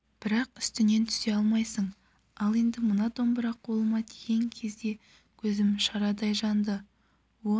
бірақ үстінен түсе алмайсың ал енді мына домбыра қолыма тиген кезде көзім шарадай жанды он